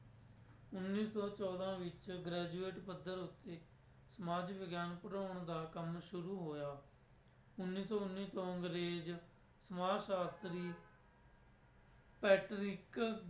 ਉੱਨੀ ਸੌ ਚੌਦਾਂ ਵਿੱਚ graduate ਪੱਧਰ ਉੱਤੇ ਸਮਾਜ ਵਿਗਿਆਨ ਪੜ੍ਹਾਉਣ ਦਾ ਕੰਮ ਸ਼ੁਰੂ ਹੋਇਆ, ਉੁੱਨੀ ਸੌ ਉੱਨੀ ਤੋਂ ਅੰਗਰੇਜ਼ ਸਮਾਜ ਸ਼ਾਸਤਰੀ ਪੈਟਰਿਕ